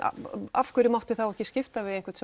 af hverju mátti þá ekki skipta við einhvern